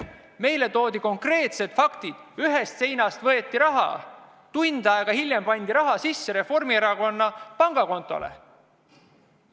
Meile esitati konkreetsed faktid: ühest seinast võeti raha, tund aega hiljem laekus see Reformierakonna pangakontole.